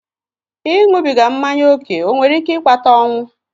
Ịṅụbiga mmanya ókè ọ nwere ike ịkpata ọnwụ?